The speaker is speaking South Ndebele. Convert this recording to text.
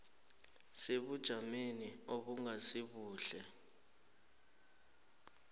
sebujameni obungasi buhle